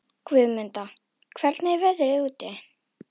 Guðmunda, hvernig er veðrið úti?